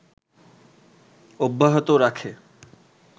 অব্যাহত রাখে